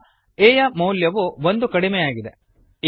ಈಗ a ನ ಮೌಲ್ಯವು ಒಂದು ಕಡಿಮೆ ಆಗಿದೆ